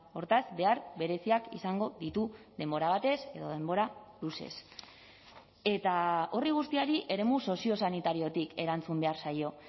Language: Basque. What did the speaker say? hortaz behar bereziak izango ditu denbora batez edo denbora luzez eta horri guztiari eremu soziosanitariotik erantzun behar zaio